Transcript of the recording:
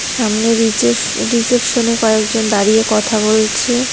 সামনের রিছেফ রিসেপশনে কয়েকজন দাঁড়িয়ে কথা বলছে।